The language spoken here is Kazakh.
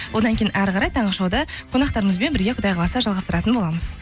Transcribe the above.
одан кейін әрі қарай таңғы шоуды қонақтарымызбен бірге құдай қаласа жалғастыратын боламыз